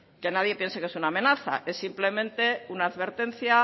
que nadie piensa que es una amenaza es simplemente una advertencia